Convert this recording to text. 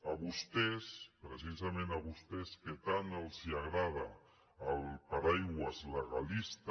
a vostès precisament a vostès que tant els agrada el paraigua legalista